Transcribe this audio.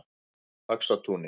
Faxatúni